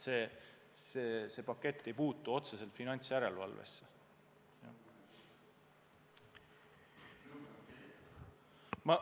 See pakett ei puutu otseselt finantsjärelevalvesse.